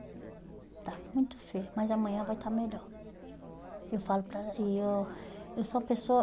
Está muito feia, mas amanhã vai estar melhor. Eu falo para e eu eu sou uma pessoa